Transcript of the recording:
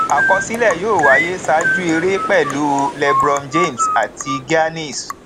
àkọsílẹ yóò wáyé ṣáájú eré pẹlú lebron james àti giannis